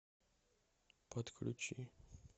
подключи